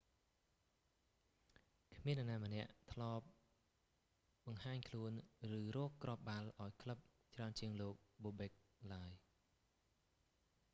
គ្មាននរណាម្នាក់ធ្លាប់បង្ហាញខ្លួន ឬរកគ្រាប់បាល់ឱ្យក្លឹបច្រើនជាងលោក bobek បូបេក ឡើយ